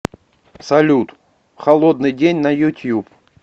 сбер холодный день на ютуб